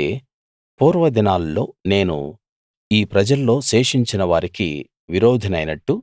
అయితే పూర్వదినాల్లో నేను ఈ ప్రజల్లో శేషించిన వారికి విరోధినైనట్టు